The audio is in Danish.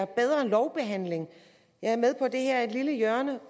bedre lovbehandling jeg er med på at det her er et lille hjørne af